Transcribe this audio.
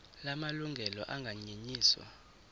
la malungelo anganyenyiswa